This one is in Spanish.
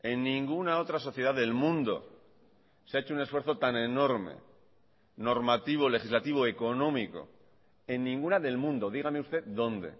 en ninguna otra sociedad del mundo se ha hecho un esfuerzo tan enorme normativo legislativo económico en ninguna del mundo dígame usted dónde